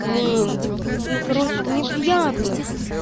блин вот ну короче мне приятно